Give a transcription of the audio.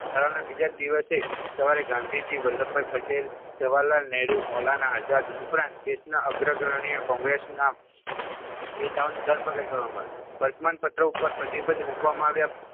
ઠરાવના બીજા દિવસે સવારે ગાંધીજી વલ્લભભાઈ પટેલ જવાહરલાલ નેહરૂ મૌલાના આઝાદ ઉપરાંત દેશના અગ્ર અગ્રણીય કોંગ્રેસના નેતાઓની ધરપકડ કરવામાં આવી. વર્તમાનપત્ર ઉપર પ્રતિબંધ મૂકવામાં આવ્યા.